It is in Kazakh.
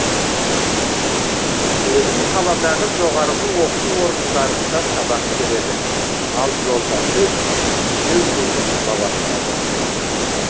сезім қаладағы жоғарғы оқу орындарында сабақ береді ал жолдасы үйді өзі сала бастады